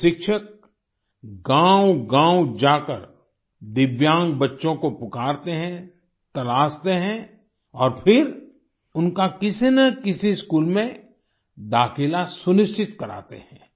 ये शिक्षक गाँवगाँव जाकर दिव्यांग बच्चों को पुकारते हैं तलाशते हैं और फिर उनका किसीनकिसी स्कूल में दाखिला सुनिश्चित कराते हैं